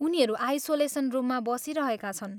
उनीहरू आइसोलेसन रुममा बसिरहेका छन्।